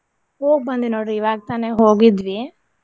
ಹೋಗ ಬಂದೆ ನೋಡ್ರಿ ಇವಾಗ ತಾನೆ ಹೋಗಿದ್ವಿ.